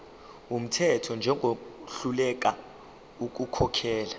wumthetho njengohluleka ukukhokhela